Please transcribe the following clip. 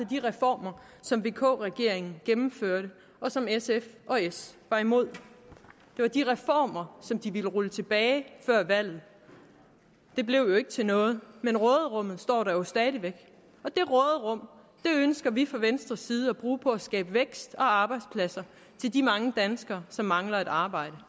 de reformer som vk regeringen gennemførte og som sf og s var imod det var de reformer som de ville rulle tilbage før valget det blev jo ikke til noget men råderummet står der jo stadig væk og det råderum ønsker vi fra venstres side at bruge på at skabe vækst og arbejdspladser til de mange danskere som mangler et arbejde